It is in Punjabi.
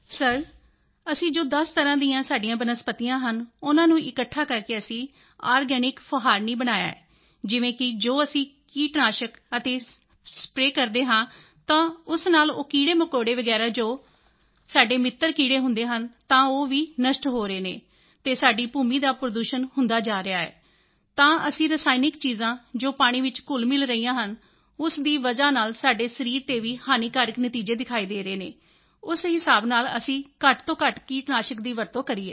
ਸਰ ਅਸੀਂ ਜੋ 10 ਤਰ੍ਹਾਂ ਦੀਆਂ ਸਾਡੀਆਂ ਬਨਸਪਤੀਆਂ ਹਨ ਉਨ੍ਹਾਂ ਨੂੰ ਇਕੱਠਾ ਕਰਕੇ ਅਸੀਂ ਆਰਗੈਨਿਕ ਫੁਹਾਰਣੀ ਸਪਰੇਅ ਬਣਾਇਆ ਹੈ ਜਿਵੇਂ ਕਿ ਜੋ ਅਸੀਂ ਕੀਟਨਾਸ਼ਕ ਆਦਿ ਸਪਰੇਅ ਕਰਦੇ ਹਾਂ ਤਾਂ ਉਸ ਨਾਲ ਉਹ ਕੀੜੇਮਕੌੜੇ ਵਗੈਰਾ ਜੋ ਸਾਡੇ ਮਿੱਤਰ ਕੀੜੇ ਹੁੰਦੇ ਹਨ ਤਾਂ ਉਹ ਵੀ ਨਸ਼ਟ ਹੋ ਰਹੇ ਹਨ ਅਤੇ ਸਾਡੀ ਭੂਮੀ ਦਾ ਪ੍ਰਦੂਸ਼ਣ ਹੁੰਦਾ ਹੈ ਜਾਂ ਤਾਂ ਅਸੀਂ ਰਸਾਇਣਕ ਚੀਜ਼ਾਂ ਜੋ ਪਾਣੀ ਵਿੱਚ ਘੁਲਮਿਲ ਰਹੀਆਂ ਹਨ ਉਸ ਦੀ ਵਜ੍ਹਾ ਨਾਲ ਸਾਡੇ ਸਰੀਰ ਤੇ ਵੀ ਹਾਨੀਕਾਰਕ ਨਤੀਜੇ ਦਿਖਾਈ ਦੇ ਰਹੇ ਹਨ ਉਸ ਹਿਸਾਬ ਨਾਲ ਅਸੀਂ ਘੱਟ ਤੋਂ ਘੱਟ ਕੀਟਨਾਸ਼ਕ ਦੀ ਵਰਤੋਂ ਕਰੀਏ